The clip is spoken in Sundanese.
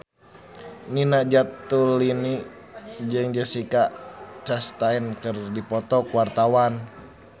Nina Zatulini jeung Jessica Chastain keur dipoto ku wartawan